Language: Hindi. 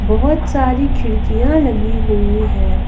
बहुत सारी खिड़कियां लगी हुई है।